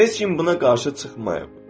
Heç kim buna qarşı çıxmayıb.